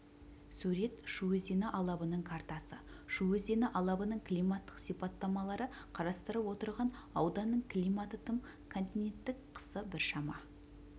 сурет шу өзені алабының картасы шу өзені алабының климаттық сипаттамалары қарастырып отырған ауданның климаты тым континенттік қысы біршама